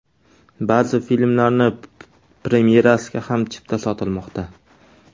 Ba’zi filmlarning premyerasiga ham chipta sotilmoqda.